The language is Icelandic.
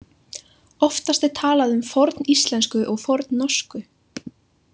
Oftast er talað um forníslensku og fornnorsku.